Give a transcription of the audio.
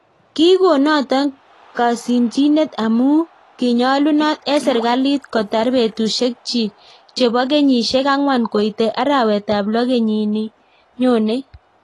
Kikoon notok kasimchinet amuu kinyalunot eng serkalit kotar petusiek chiik chepoo kenyisiek angwan koitee arawet ap loo kenyin nii nyonei